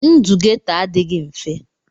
Ndụ Geto adịghị mfe.